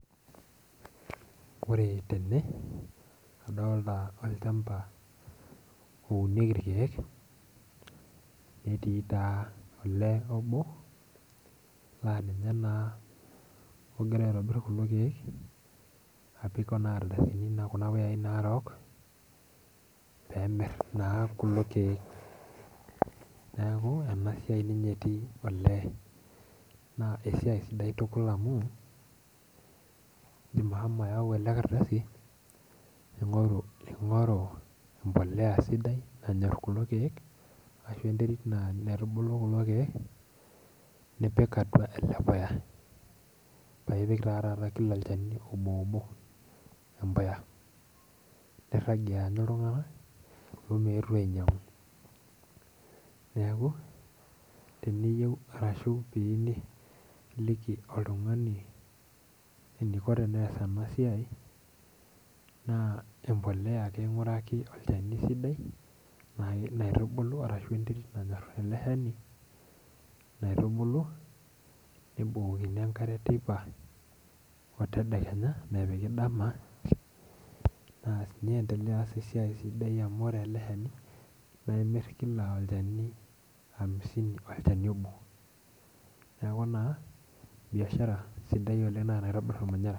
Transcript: Ore tene nadolita olchampa ounieki irkeek netii taa olee obo laa ninye naa ogira aitobir kulo keek apik naa Kuna ardasini narok pee emir ninye kulo keek. neeku enasiai ninye etii oleenaa esiai sidai amu indim ashomo ayau ele ardasi ningoru embolea sidai nanyor kulo keek ashu enterit sidai naitubulu kulo keek, nipik atua ele puya paa ipik taa olchani Kila obooboatua embuya ,paa irajie aanyu iltunganak meetu ainyangu .neeku ore pee iyieu niliki oltungani eniko pee ees enasiai, naa empolea ake inguraki olchani sidai paa ilo aitubulu ,nebukokini enkare teipa otedekenya ,niendelea aas esiai sidai amu ore ele shani naa imir amisini Kila olchani obo, neeku naa biashara sidai naa enaitobir ormanyera.